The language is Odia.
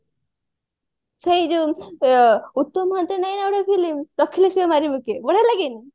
ସେଇଯୋଉ ଉତ୍ତମ ମହାନ୍ତି ର ନାହିଁ ନା ଗୋଟେ film ରଖିଲେ ଶିବ ମାରିବ କିଏ ବଢିଆ ଲାଗେନି